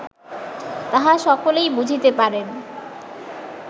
তাহা সকলেই বুঝিতে পারেন